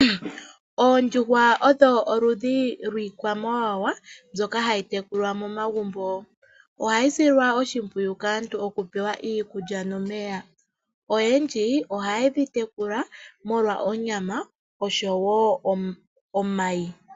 Oondjuhwa odho oludhi lwiikwamawawa mbyoka hayi tekulwa momagumbo. Ohayi silwa oshimpwiyu kaantu okupewa iikulya nomeya. Oyendji ohaye dhi tekula molwa onyama oshowo omayi.